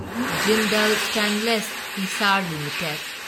Jindal stainless Hisar limited